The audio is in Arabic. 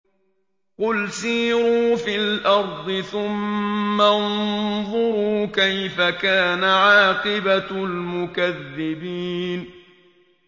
قُلْ سِيرُوا فِي الْأَرْضِ ثُمَّ انظُرُوا كَيْفَ كَانَ عَاقِبَةُ الْمُكَذِّبِينَ